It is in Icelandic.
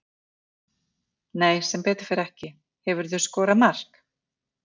Nei sem betur fer ekki Hefurðu skorað mark?